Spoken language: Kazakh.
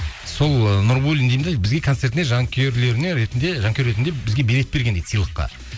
сол ы нурбуллин деймін де бізге концертіне жанкүйер ретінде бізге билет берген дейді сыйлыққа